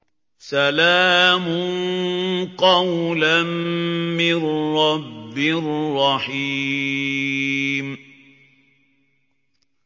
سَلَامٌ قَوْلًا مِّن رَّبٍّ رَّحِيمٍ